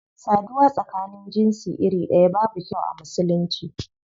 Saduwa tsakanin jinsi iri daya babu kyau a musulunci.